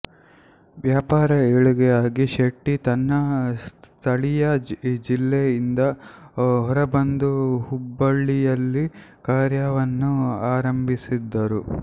ವ್ಯಾಪಾರ ಏಳಿಗೆಯಾಗಿ ಶೆಟ್ಟಿ ತನ್ನ ಸ್ಥಳೀಯ ಜಿಲ್ಲೆ ಇಂದ ಹೊರಬಂದು ಹುಬ್ಬಳ್ಳಿಯಲ್ಲಿ ಕಾರ್ಯವನ್ನು ಆರಂಭಿಸಿದರು